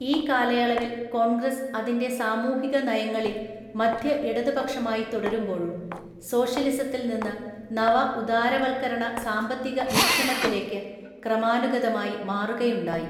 ഈ കാലയളവിൽ കോൺഗ്രസ് അതിന്‍റെ സാമൂഹിക നയങ്ങളിൽ മദ്ധ്യ ഇടതുപക്ഷമായി തുടരുമ്പോഴും സോഷ്യലിസത്തില്‍ നിന്ന് നവ ഉദാരവത്കരണ സാമ്പത്തിക വീക്ഷണത്തിലേക്ക് ക്രമാനുഗതമായി മാറുകയുണ്ടായി .